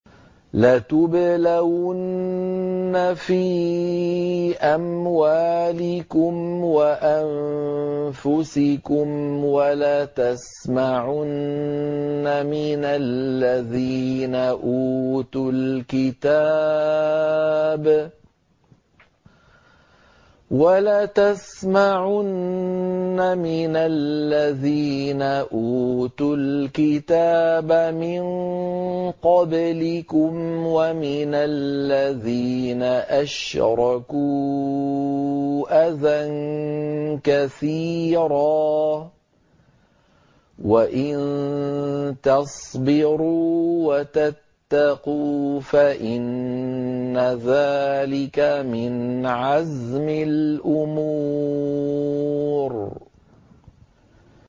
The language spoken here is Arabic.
۞ لَتُبْلَوُنَّ فِي أَمْوَالِكُمْ وَأَنفُسِكُمْ وَلَتَسْمَعُنَّ مِنَ الَّذِينَ أُوتُوا الْكِتَابَ مِن قَبْلِكُمْ وَمِنَ الَّذِينَ أَشْرَكُوا أَذًى كَثِيرًا ۚ وَإِن تَصْبِرُوا وَتَتَّقُوا فَإِنَّ ذَٰلِكَ مِنْ عَزْمِ الْأُمُورِ